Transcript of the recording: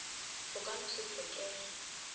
o ka no se tlhokege